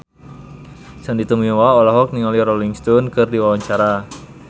Sandy Tumiwa olohok ningali Rolling Stone keur diwawancara